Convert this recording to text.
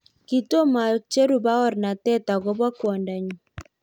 kitomacheru baornate ak kobo kwondo nyu.